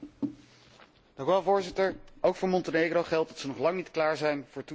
Voorzitter, ook voor Montenegro geldt dat ze nog lang niet klaar zijn voor toetreding tot de EU.